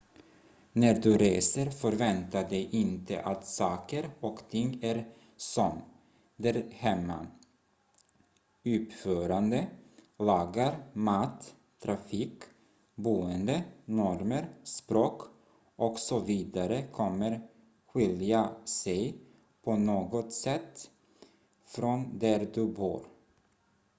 "när du reser förvänta dig inte att saker och ting är som "där hemma"". uppförande lagar mat trafik boende normer språk och så vidare kommer skilja sig på något sätt från där du bor.